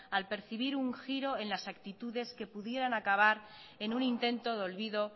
al percibir un giro en las actitudes que pudieran acabar en un intento de olvido